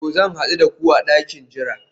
To, zan hadu da ku a dakin jira